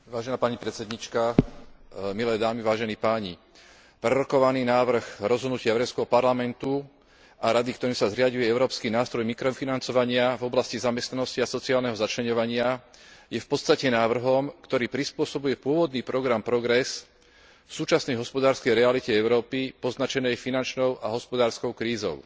Vážená pani predsedníčka, milé dámy, vážení páni, prerokovaný návrh rozhodnutia Európskeho parlamentu a Rady, ktorým sa stanovuje európsky nástroj mikrofinancovania v oblasti zamestnanosti a sociálneho začleňovania je v podstate návrhom, ktorý prispôsobuje pôvodný program Progress súčasnej hospodárskej realite Európy poznačenej finančnou a hospodárskou krízou.